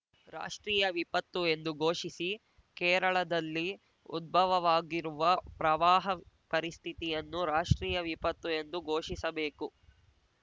ರಾಷ್ಟ್ರೀಯ ವಿಪತ್ತು ಎಂದು ಘೋಷಿಸಿ ಕೇರಳದಲ್ಲಿ ಉದ್ಭವವಾಗಿರುವ ಪ್ರವಾಹ ಪರಿಸ್ಥಿತಿಯನ್ನು ರಾಷ್ಟ್ರೀಯ ವಿಪತ್ತು ಎಂದು ಘೋಷಿಸಬೇಕು